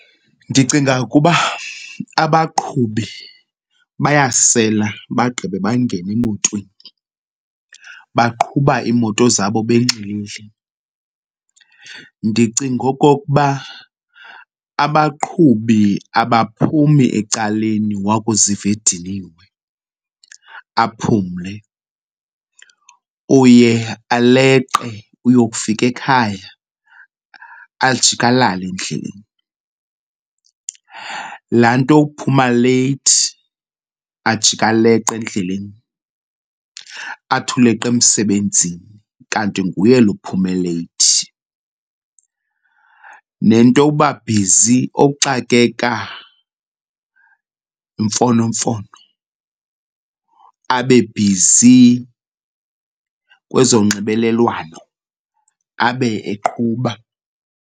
Ndicinga ukuba abaqhubi bayasela bagqibe bangene emotweni, baqhuba iimoto zabo benxilile. Ndicinga okokuba abaqhubi abaphumi ecaleni wakuziva ediniwe, aphumle. Uye aleqe uyokufika ekhaya ajike alale endleleni. Laa nto yokuphuma leyithi ajike aleqe endleleni athi uleqe emsebenzini kanti nguye lo uphume leyithi. Nento yokuba bhizi, ukuxakeka yimfonomfono, abe bhizi kwezonxibelelwano abe eqhuba.